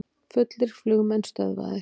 Fullir flugmenn stöðvaðir